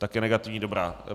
Také negativní, dobrá.